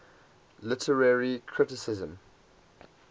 literary criticism